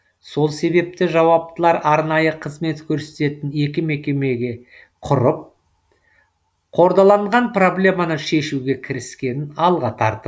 сол себепті жауаптылар арнайы қызмет көрсететін екі мекемеге құрып қордаланған проблеманы шешуге кіріскенін алға тартып